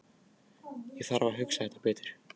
Ég þarf að hugsa þetta betur.